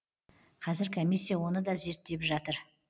казір комиссия оны да зерттеп жатыр